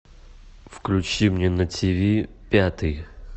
включи мне на ти ви пятый